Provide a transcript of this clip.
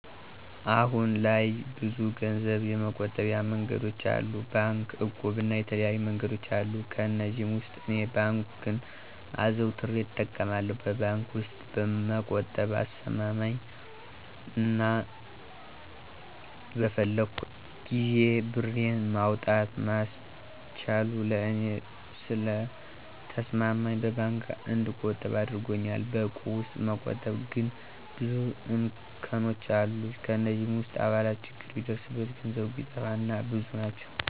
አሁን ላይ ብዙ ገንዘብ የመቆጠቢያ መንገዶች አሉ። ባንክ፣ እቁብ እና የተለያዩ መንገዶች አሉ። ከእነዚህም ውስጥ እኔ ባንክን አዘውትሬ እጠቀማለሁ። በባንክ ውስጥ መቆጠብ አስማማኝ አና በፈለኩት ጊዜ ብሬን ማውጣት ማስቻሉ ለእኔ ስለተስማማኝ በባንክ እንድቆጥብ አድርጎኛል። በእቁብ ውስጥ መቆጠብ ግን ብዙ እንከኖች አለት። ከእነዚህ ውስጥ አባላት ችግር ቢደርስባቸው፣ ገንዘብ ቢጠፋ እና እና ብዙ ናቸው።